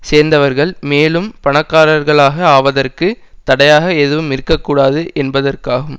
சேர்ந்தவர்கள் மேலும் பணக்காரர்களாக ஆவதற்கு தடையாக எதுவும் இருக்க கூடாது என்பதற்காகும்